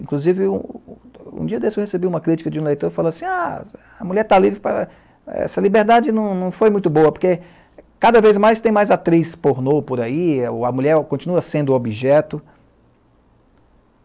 Inclusive, um um um dia desse eu recebi uma crítica de um leitor que falou assim, a a mulher está livre para eh... essa liberdade não foi muito boa, porque cada vez mais tem mais atriz pornô por aí, a mulher continua sendo objeto.